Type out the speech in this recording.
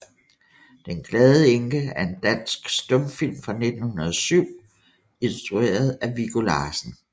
Den glade Enke er en dansk stumfilm fra 1907 instrueret af Viggo Larsen